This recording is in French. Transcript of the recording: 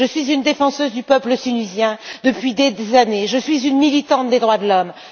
Je défends le peuple tunisien depuis des années et je suis une militante des droits de l'homme.